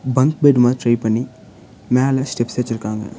Bunk bed மாதிரி try பண்ணி மேல ஸ்டெப்ஸ் வெச்சிருக்காங்க.